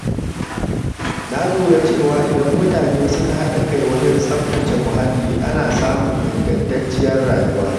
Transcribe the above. Na lura cewa idan mutane suka haɗa kai wajen tsaftace muhalli, ana samun ingantacciyar rayuwa.